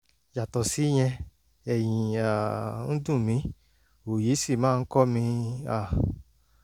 yàtọ̀ síyẹn ẹ̀yìn um ń dùn mí òòyì sì máa ń kọ́ mi um